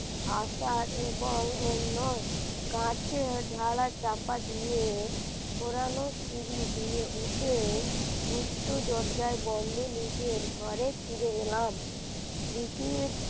আকার এবং অন্য কাঁচের ঢালা চাপা দিয়ে ঘোরানো সিঁড়ি দিয়ে উঠে গুপ্ত দরজায় বন্ধ নিজের ঘরে ফিরে এলাম। দিতি